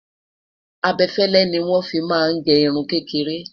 abefele ní wọn fí má gé irún kékeré